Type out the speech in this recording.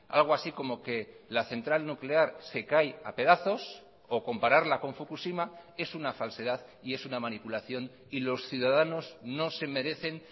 algo así como que la central nuclear se cae a pedazos o compararla con fukushima es una falsedad y es una manipulación y los ciudadanos no se merecen